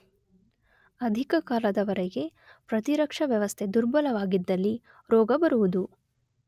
ಅಧಿಕ ಕಾಲದ ವರೆಗೆ ಪ್ರತಿರಕ್ಷ ವ್ಯವಸ್ಥೆ ದುರ್ಬಲವಾಗಿದ್ದಲ್ಲಿ ರೋಗ ಬರುವುದು